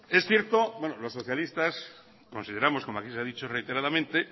es cierto bueno los socialistas consideramos como aquí ha dicho reiteradamente